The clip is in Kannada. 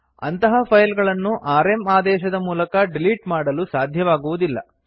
ಅಂತಹ ಫೈಲ್ ಗಳನ್ನು ಆರ್ಎಂ ಆದೇಶದ ಮೂಲಕ ಡಿಲಿಟ್ ಮಾಡಲು ಸಾಧ್ಯವಾಗುವುದಿಲ್ಲ